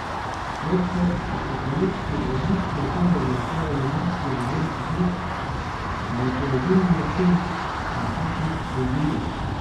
Svet po apokalipsi je odlično okolje za ustvarjanje močnih ženskih likov, saj je to edini način, da tak lik preživi.